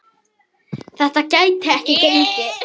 Þetta gæti ekki gengið.